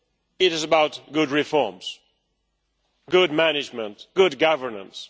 It is about good reforms, good management and good governance.